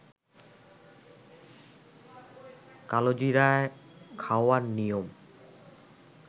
কালোজিরা খাওয়ার নিয়ম